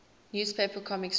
newspaper comic strip